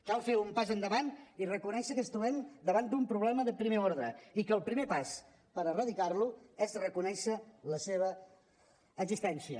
cal fer un pas endavant i reconèixer que ens trobem davant d’un problema de primer ordre i que el primer pas per erradicar lo és reconèixer la seva existència